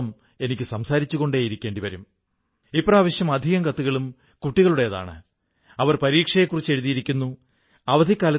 ആരോഗ്യത്തിന്റെ വീക്ഷണത്തിൽ നോക്കിയാൽ ഇത് ശരീരത്തിനിണങ്ങുന്ന തുണിയാണ് എല്ലാ കാലാവസ്ഥയിലും ഉപയോഗിക്കാവുന്നതാണ് ഇന്ന് ഖാദി ഫാഷനിണങ്ങൂന്ന ഒന്നുകൂടി ആയിക്കൊണ്ടിരിക്കുന്നു